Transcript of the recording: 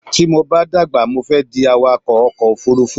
Tí mo bá dàgbà mo fẹ́ di awakọ̀ ọkò òfurufú